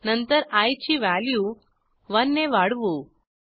नंतर आय ची व्हॅल्यू 1 ने वाढवू